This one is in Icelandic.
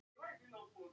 En líka má nefna annað.